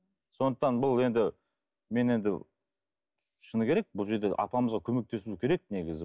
сондықтан бұл енді мен енді шыны керек бұл жерде апамызға көмектесуіміз керек негізі